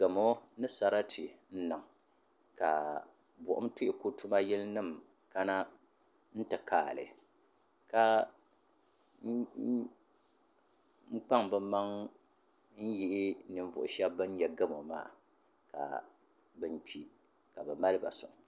Gamu ni sarati n niŋ ka buɣum tuhuku tuma yili nima kana n ti kaagi li n kpaŋ bɛ maŋa n yihi ninvuɣu sheba ban nyɛ gamu maa ka nan kpi ka bɛ maliba soŋ.